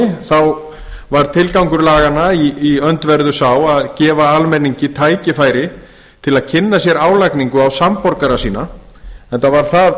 á mannamáli var tilgangur laganna í öndverðu sá að gefa almenningi tækifæri til að kynna sér álagningu á samborgara sína enda var það